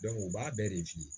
u b'a bɛɛ de f'i ye